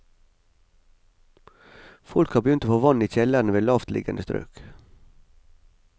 Folk har begynt å få vann i kjellerne ved lavtliggende strøk.